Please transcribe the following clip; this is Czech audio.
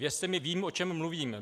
Věřte mi, vím, o čem mluvím.